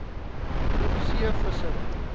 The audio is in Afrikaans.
groep c vissery